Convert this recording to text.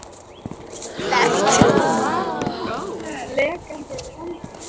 Sólveig: Er þetta eðlilegt?